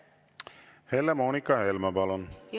Helle-Moonika Helme, palun!